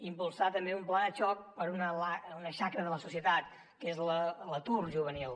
impulsar també un pla de xoc per a una xacra de la societat que és l’atur juvenil